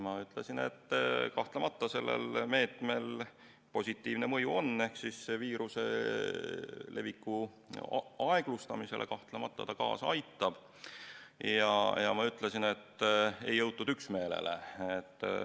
Ma ütlesin, et kahtlemata on sellel meetmel positiivne mõju ehk viiruse leviku aeglustumisele kahtlemata ta kaasa aitab, ja ma ütlesin, et ei jõutud üksmeelele.